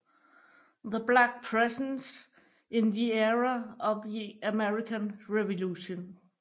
The Black Presence in the Era of the American Revolution